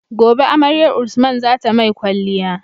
Gobe amaryar usman zata mai kwaliya